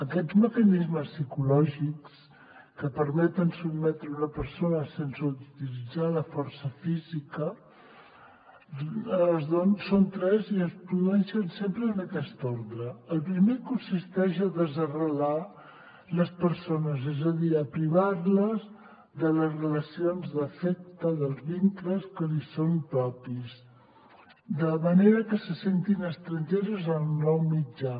aquests mecanismes psicològics que permeten sotmetre una persona sense utilitzar la força física són tres i es produeixen sempre en aquesta ordre el primer consisteix a desarrelar les persones és a dir a privar les de les relacions d’afecte dels vincles que li són propis de manera que se sentin estrangeres en el nou mitjà